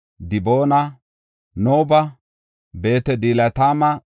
Diboona, Nabo, Beet-Dibilatayma,